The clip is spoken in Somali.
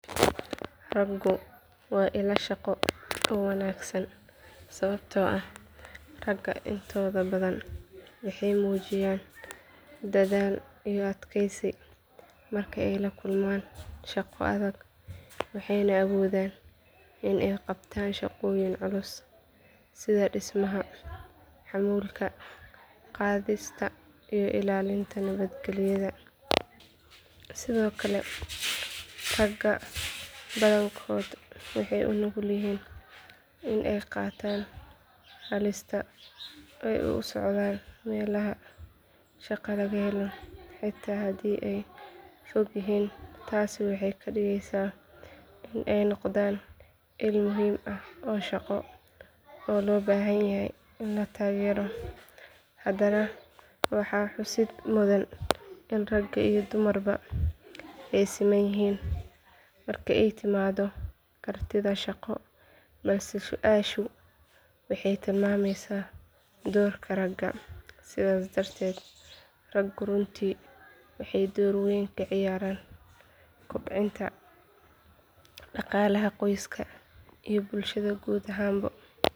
Raggu waa ilo shaqo oo wanaagsan sababtoo ah ragga intooda badan waxay muujiyaan dadaal iyo adkaysi marka ay la kulmaan shaqo adag waxayna awoodaan in ay qabtaan shaqooyin culus sida dhismaha xamuulka qaadista iyo ilaalinta nabadgelyada sidoo kale ragga badankood waxay u nugul yihiin in ay qaataan halista oo ay u socdaan meelaha shaqo laga helo xitaa haddii ay fog yihiin taasi waxay ka dhigaysaa in ay noqdaan il muhiim ah oo shaqo oo loo baahan yahay in la taageero haddana waxaa xusid mudan in rag iyo dumarba ay siman yihiin marka ay timaaddo kartida shaqo balse su’aashu waxay tilmaamaysaa doorka ragga sidaas darteed raggu runtii waxay door weyn ka ciyaaraan kobcinta dhaqaalaha qoysaska iyo bulshada guud ahaan.